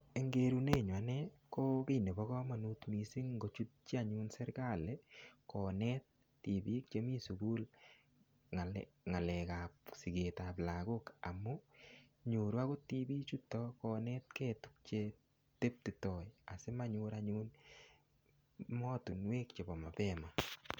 Eng' kerunenyu ane ko kii nebo komonut mising' ngochutchi anyun serikali konet tipiik chemi sukul ng'alekab siketab lagok amu nyoru akot tipichuto konetkei tukche teptitoi asimanyor anyut mootinwek chebo mapema